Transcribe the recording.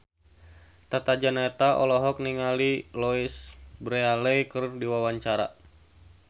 Tata Janeta olohok ningali Louise Brealey keur diwawancara